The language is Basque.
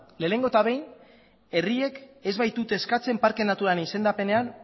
lehenik eta behin herriek ez baitute uzten parke naturalaren